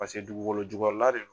Paseke dugukolo jukɔrɔ la de do.